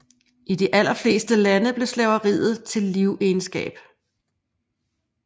I de allerfleste lande blev slaveriet til livegenskab